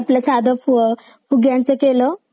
मी आपलं साधं फुग्यांचं केलं.